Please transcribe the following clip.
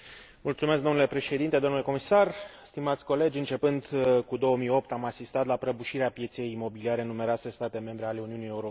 Începând cu 2008 am asistat la prăbușirea pieței imobiliare în numeroase state membre ale Uniunii Europene, cu consecințe grave pentru cetățeni.